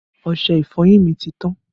Ọṣẹ ìfọyín mi ti tán